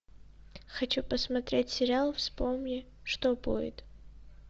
хочу посмотреть сериал вспомни что будет